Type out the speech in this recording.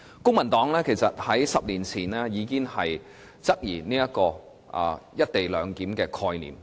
公民黨在10年前其實已經質疑"一地兩檢"的概念。